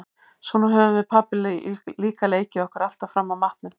Svona höfðum við pabbi líka leikið okkur alltaf fram að matnum.